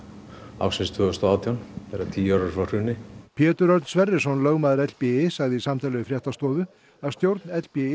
ársins tvö þúsund og átján þegar tíu ár eru frá hruni Pétur Örn Sverrisson lögmaður sagði í samtali við fréttastofu að stjórn